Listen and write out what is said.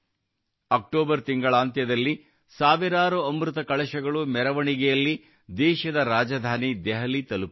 October ತಿಂಗಳಾಂತ್ಯದಲ್ಲಿ ಸಾವಿರಾರು ಅಮೃತ ಕಳಶಗಳು ಮೆರವಣಿಗೆಯಲ್ಲಿ ದೇಶದ ರಾಜಧಾನಿ ದೆಹಲಿ ತಲುಪಲಿವೆ